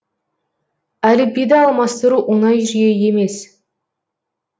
әліпбиді алмастыру оңай жүйе емес